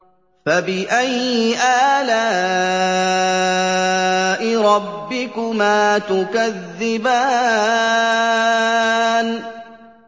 فَبِأَيِّ آلَاءِ رَبِّكُمَا تُكَذِّبَانِ